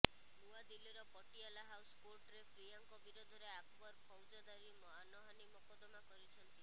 ନୂଆଦିଲ୍ଲୀର ପଟିଆଲା ହାଉସ କୋର୍ଟରେ ପ୍ରିୟାଙ୍କ ବିରୋଧରେ ଆକବର ଫୌଜଦାରୀ ମାନହାନି ମକଦ୍ଦମା କରିଛନ୍ତି